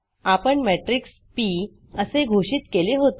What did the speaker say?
आपण matrix P असे घोषित केले होते